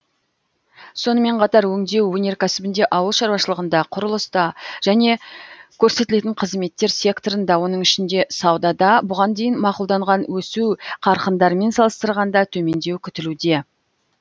сонымен қатар өңдеу өнеркәсібінде ауыл шаруашылығында құрылыста және көрсетілетін қызметтер секторында оның ішінде саудада бұған дейін мақұлданған өсу қарқындарымен салыстырғанда төмендеу күтілуде